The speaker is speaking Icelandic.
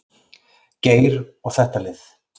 Geir og þetta lið.